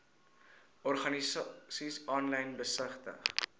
organisasies aanlyn besigtig